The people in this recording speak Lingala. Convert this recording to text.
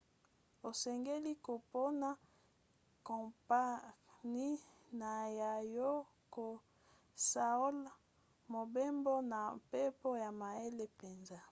osengeli kopona kompani na yo ya kosaola mobembo na mpepo na mayele mpenza